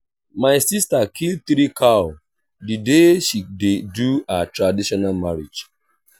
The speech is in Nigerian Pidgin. my sister kill three cow the day she dey do her traditional marriage